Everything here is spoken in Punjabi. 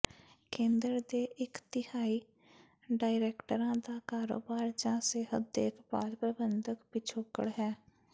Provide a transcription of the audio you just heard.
ਕੇਂਦਰ ਦੇ ਇਕ ਤਿਹਾਈ ਡਾਇਰੈਕਟਰਾਂ ਦਾ ਕਾਰੋਬਾਰ ਜਾਂ ਸਿਹਤ ਦੇਖਭਾਲ ਪ੍ਰਬੰਧਨ ਪਿਛੋਕੜ ਹੈ